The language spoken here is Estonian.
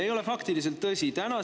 Ei ole faktiliselt tõsi!